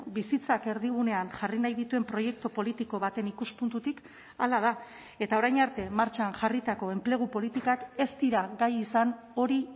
bizitzak erdigunean jarri nahi dituen proiektu politiko baten ikuspuntutik hala da eta orain arte martxan jarritako enplegu politikak ez dira gai izan hori